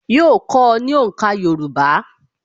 Yóò kọ́ ọ ní òǹkà Yorùbá